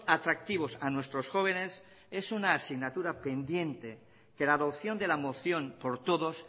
atractivos a nuestros jóvenes es una asignatura pendiente que la adopción de la moción por todos